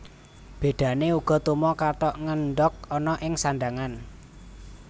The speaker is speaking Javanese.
Bédané uga tuma kathok ngendhog ana ing sandhangan